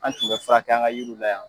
An tun bɛ furakɛ an ka yiriw la yan.